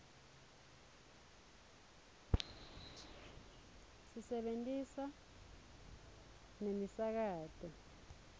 sisebentisa nemisakato